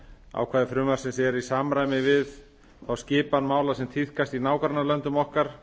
ákvæði frumvarpsins eru í samræmi við þá skipan mála sem tíðkast í nágrannalöndum okkar